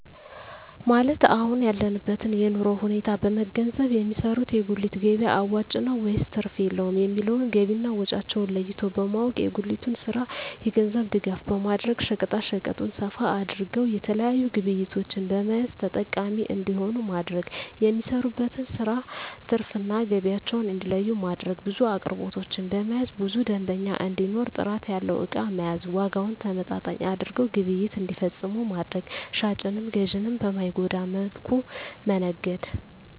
ማለት የአሁን ያለበትን የኑሮ ሁኔታ በመንገዘብ የሚሰሩት የጉሊት ገቢያ አዋጭ ነው ወይስ ትርፍ የለውም የሚለውን ገቢና ወጫቸውን ለይቶ በማወቅ። የጉሊቱን ስራ የገንዘብ ድጋፍ በማድረግ ሸቀጣሸቀጡን ሰፋ አድርገው የተለያዪ ግብዕቶችን በመያዝ ተጠቃሚ እንዲሆኑ ማድረግ። የሚሰሩበትን ስራ ትርፍ እና ገቢያቸውን እንዲለዪ ማድረግ። ብዙ አቅርቦቶችን በመያዝ ብዙ ደንበኛ እንዲኖር ጥራት ያለው እቃ መያዝ። ዋጋውን ተመጣጣኝ አድርገው ግብይት እንዲፈፅሙ ማድረግ። ሻጭንም ገዢንም በማይጎዳ መልኩ መነገድ